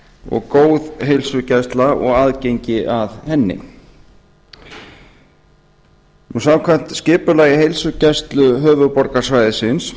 og góð heilsugæsla og aðgengi að henni samkvæmt skipulagi heilsugæslu höfuðborgarsvæðisins